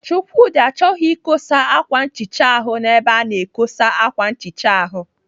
Chukwudi chọghị ikosa ákwà nchicha ahụ n'ebe a na-ekosa ákwà nchicha ahụ.